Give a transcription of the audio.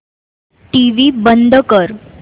TV बंद कर